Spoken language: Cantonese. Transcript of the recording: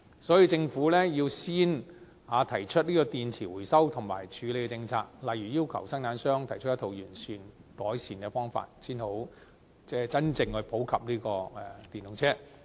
所以，政府要先提出電池回收和處理的政策，例如要求生產商提出一套完善的改善方法，才能落實普及使用電動車。